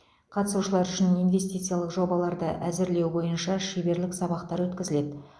қатысушылар үшін инвестициялық жобаларды әзірлеу бойынша шеберлік сабақтар өткізіледі